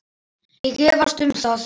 Ég efast um það.